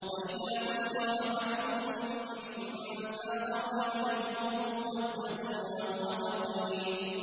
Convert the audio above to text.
وَإِذَا بُشِّرَ أَحَدُهُم بِالْأُنثَىٰ ظَلَّ وَجْهُهُ مُسْوَدًّا وَهُوَ كَظِيمٌ